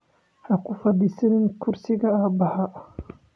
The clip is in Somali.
Ha ku fadhiisan kursiga aabbahaa